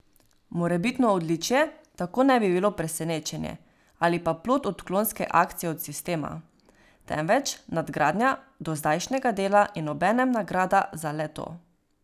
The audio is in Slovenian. Morebitno odličje tako ne bi bilo presenečenje ali pa plod odklonske akcije od sistema, temveč nadgradnja dozdajšnjega dela in obenem nagrada za le to.